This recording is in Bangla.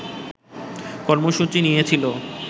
কর্মসূচি নিয়েছিল